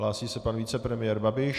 Hlásí se pan vicepremiér Babiš.